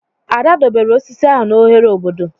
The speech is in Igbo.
Ada doberr osisi ahụ n'ohere obodo.